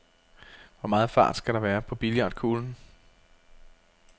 Hvor meget fart skal der være på billiardkuglen?